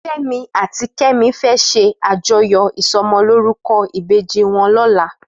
Femi àtí Kemi fè ṣé àjóyó isòmòlórúkò ibéji wòn lòlá